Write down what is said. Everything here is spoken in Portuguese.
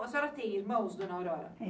A senhora tem irmãos, dona Aurora?